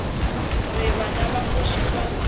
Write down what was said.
re bana ba kgoši ba